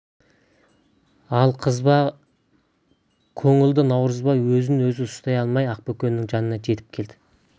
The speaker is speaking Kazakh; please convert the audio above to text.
ал қызба көңілді наурызбай өзін өзі ұстай алмай ақбөкеннің жанына жетіп келді